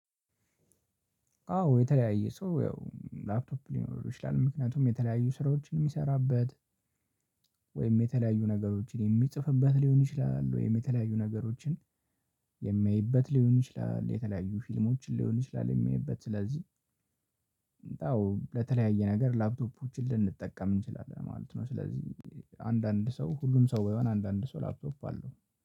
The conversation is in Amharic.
አዎ የተለያየ ሰው ያው ላፕቶፕ ሊኖረው ይችላል ምክንያቱም የተለያየ ስራዎች የሚሰራበት ወይም የተለያዩ ነገሮችን የሚጽፍበት ሊሆን ይችላል። ወይም የተለያዩ ነገሮችን የሚያይበት ሊሆን ይችላል። የተለያዩ ፊልሞችን ሊሆን ይችላል የሚያይበት ስለዚህ እንዳው ለተለያየ ነገር ላፕቶፖችን ልንጠቀም እንችላለን ማለት ነው። ስለዚህ አንዳንድ ሰው ሁሉም ሰው በይሆን አንዳንድ ሰው ላፕቶፕ አለው